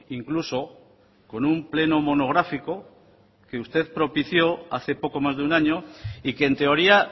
incluso con un pleno monográfico que usted propició hace poco más de un año y que en teoría